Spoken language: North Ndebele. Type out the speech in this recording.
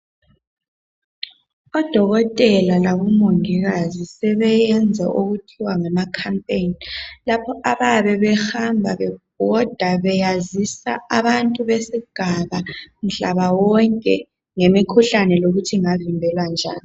Odokotela, labomongikazi sebeyenza okuthiwa ngama khampeni. Lapha abayabe behamba bebhoda beyazisa abantu besigaba mhlaba wonke ngemikhuhlane lokuthi ingavimbeka njani.